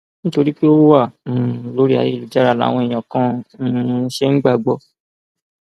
nítorí pé ó wà um lórí ayélujára làwọn èèyàn kan um ṣe ń gbà á gbọ